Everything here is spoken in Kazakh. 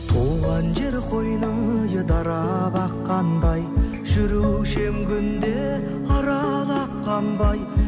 туған жер қойның дарап аққандай жүруші ем күнде аралап қанбай